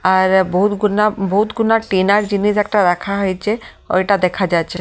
আ-আর বহুত গুনা বহুত গুনা টিনার জিনিস একটা রাখা হয়েছে ঐটা দেখা যাচ্ছে।